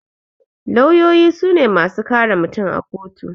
Lawyoyi sune masu kare mutum a kotu